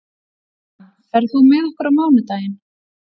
Dan, ferð þú með okkur á mánudaginn?